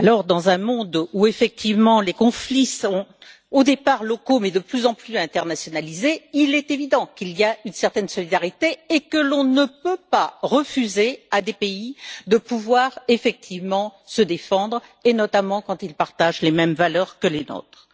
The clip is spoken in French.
Dans un monde où les conflits sont au départ locaux mais de plus en plus internationalisés, il est évident qu'il y a une certaine solidarité et que l'on ne peut pas refuser à des pays de pouvoir se défendre, et notamment quand ils partagent les mêmes valeurs que les nôtres.